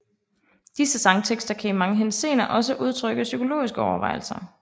Disse sangtekster kan i mange henseender også udtrykke psykologiske overvejelser